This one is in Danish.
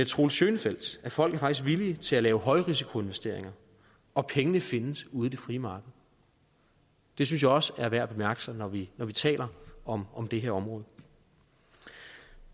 troels schönfeldt at folk faktisk er villige til at lave højrisikoinvesteringer og pengene findes ude i det frie marked det synes jeg også er værd at bemærke sig når vi vi taler om om det her område